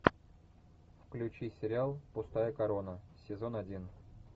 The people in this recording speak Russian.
включи сериал пустая корона сезон один